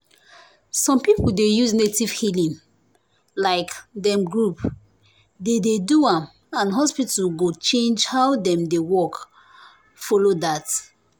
some people dey use native healing like dem group dey dey do am and hospital go change how dem dey work follow that.